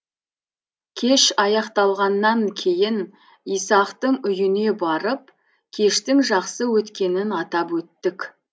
кеш аяқталғаннан кейін исақтың үйіне барып кештің жақсы өткенін атап өттік